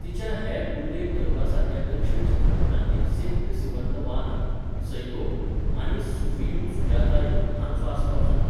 तिच्या हेर उल्लेख करपा सारक्या दक्षिण चित्रपटांनी सेक्क सिवन्द वानम्, सैको आनी सूफियुं सुजातयुं हांचो आस्पाव जाता.